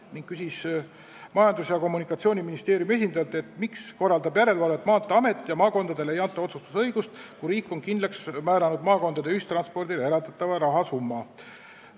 Ta küsis Majandus- ja Kommunikatsiooniministeeriumi esindajalt, miks korraldab järelevalvet Maanteeamet ja maakondadele ei anta otsustusõigust, kui riik on kindlaks määranud maakondade ühistranspordile eraldatava rahasumma.